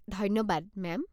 ধন্যবাদ, মেম।